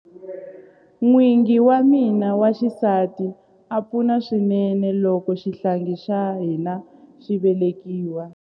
N'wingi wa mina wa xisati a pfuna swinene loko xihlangi xa hina xi velekiwa.